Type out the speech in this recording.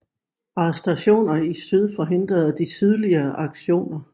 Arrestationer i syd forhindrede de sydlige aktioner